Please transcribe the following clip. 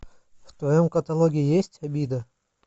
в твоем каталоге есть обида